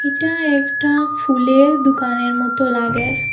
এইটা একটা ফুলের দুকানের মতো লাগের।